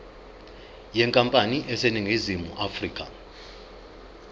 yenkampani eseningizimu afrika